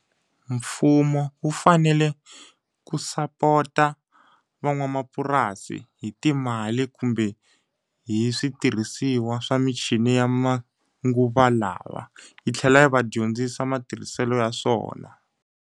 Mfumo wu fanele ku sapota van'wamapurasi hi timali kumbe hi switirhisiwa swa michini ya manguva lawa. Yi tlhela yi va dyondzisa matirhiselo ya swona.